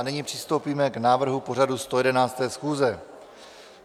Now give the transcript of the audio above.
A nyní přistoupíme k návrhu pořadu 111. schůze.